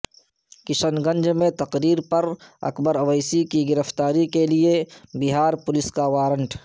کشن گنج میں تقریر پر اکبر اویسی کی گرفتاری کے لئے بہار پولیس کا وارنٹ